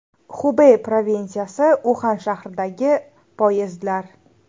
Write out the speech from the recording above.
Xubey provinsiyasi Uxan shahridagi poyezdlar.